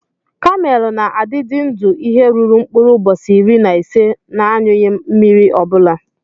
Kamel na adidi ndụ ihe ruru nkpurụ ubosi iri na ise n'anyuyi mmiri obula.